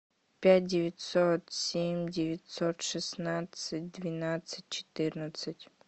пять девятьсот семь девятьсот шестнадцать двенадцать четырнадцать